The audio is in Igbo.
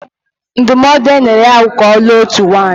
Ndụmọdụ o nyere ya bụ ka ọ lụọ otu nwaanyị